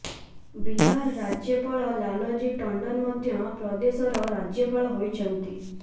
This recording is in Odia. ବିହାର ରାଜ୍ୟପାଳ ଲାଲଜୀ ଟଣ୍ଡନ ମଧ୍ୟ ପ୍ରଦେଶର ରାଜ୍ୟପାଳ ହୋଇଛନ୍ତି